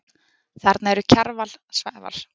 Þarna eru Kjarval, Svavar